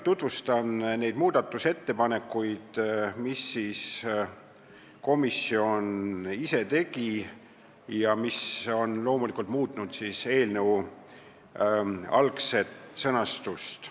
Tutvustan lühidalt neid muudatusettepanekuid, mis komisjon ise tegi ja mis on loomulikult muutnud eelnõu algset sõnastust.